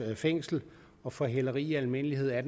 fængsel og for hæleri i almindelighed er